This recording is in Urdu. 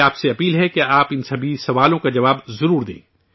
میری آپ سے درخواست ہے کہ آپ ان تمام سوالوں کا جواب ضرور دیں